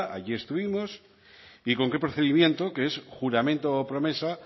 allí estuvimos y con qué procedimiento que es juramento o promesa